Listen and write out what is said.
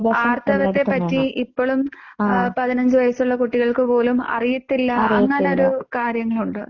ആർത്തവത്തെ പറ്റി ഇപ്പളും പതിനഞ്ച് വയസ്സുള്ള കുട്ടികൾക്ക് പോലും അറിയത്തില്ല. അങ്ങനൊരു കാര്യങ്ങളുണ്ട്.